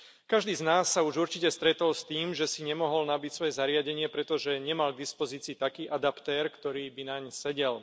Každý z nás sa už určite stretol s tým, že si nemohol nabiť svoje zariadenie, pretože nemal k dispozícii taký adaptér, ktorý by naň sedel.